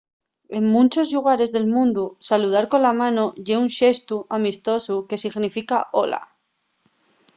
en munchos llugares del mundu saludar cola mano ye un xestu amistosu que significa hola